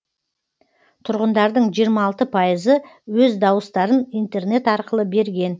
тұрғындардың жиырма алты пайызы өз дауыстарын интернет арқылы берген